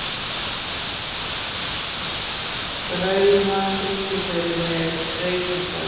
Drauma, syngdu fyrir mig „Reykingar“.